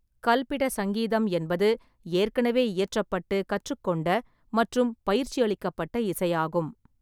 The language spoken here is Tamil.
கல்பிட சங்கீதம் என்பது ஏற்கனவே இயற்றப்பட்டு, கற்றுக்கொண்ட மற்றும் பயிற்சியளிக்கப்பட்ட இசையாகும்.